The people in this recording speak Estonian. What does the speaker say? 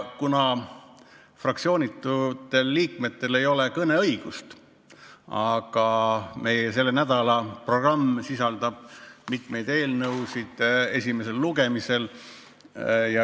Fraktsioonitutel liikmetel ei ole suurt kõneõigust, aga meie selle nädala programmis on esimesel lugemisel mitu eelnõu.